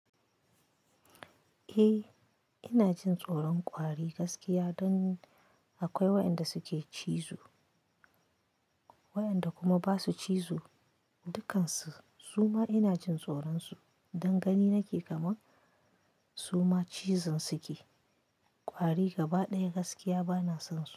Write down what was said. Eh ina jin tsoron ƙwari gaskiya dani, akwai waƴanda suke cizo waƴanda kuma basu cizo, dukkansu suma ina jin tsoron su dan gani nake kaman suma cizon suke, ƙwari gaba ɗaya gaskiya bana son su.